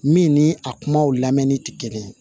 Min ni a kumaw lamɛnni tɛ kelen ye